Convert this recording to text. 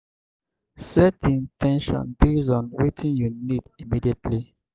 set di in ten tion based on wetin you need immediately